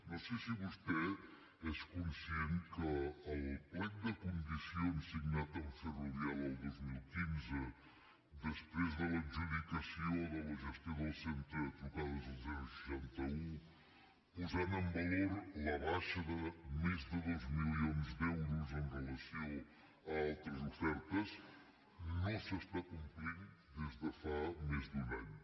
no sé si vostè és conscient que el plec de condicions signat amb ferrovial el dos mil quinze després de l’adjudicació de la gestió del centre de trucades al seixanta un posant en valor la baixa de més de dos milions d’euros amb relació a altres ofertes no s’està complint des de fa més d’un any